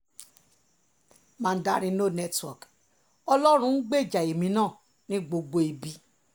mandarin no network ọlọ́run ń gbèjà èmi náà ní gbogbo ibi